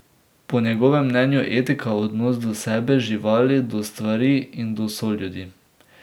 Po njegovem mnenju je etika odnos do sebe, živali, do stvari in do soljudi.